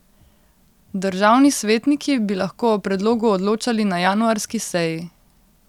Državni svetniki bi lahko o predlogu odločali na januarski seji.